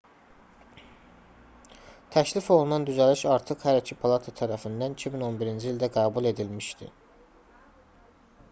təklif olunan düzəliş artıq hər iki palata tərəfindən 2011-ci ildə qəbul edilmişdi